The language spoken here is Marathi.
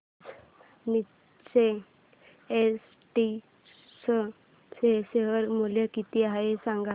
आज नीतेश एस्टेट्स चे शेअर मूल्य किती आहे सांगा